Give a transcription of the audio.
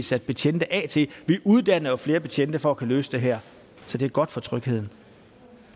sat betjente af til vi uddanner jo flere betjente for at kunne løse det her så det er godt for trygheden